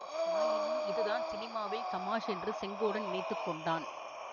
ஆயினும் இதுதான் சினிமாவில் தமாஷ் என்று செங்கோடன் நினைத்து கொண்டான்